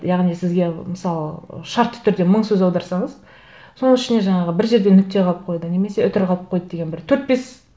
яғни сізге мысалы шартты түрде мың сөз аударсаңыз соның ішіне жаңағы бір жерде нүкте қалып қойды немесе үтір қалып қойды деген бір төрт бес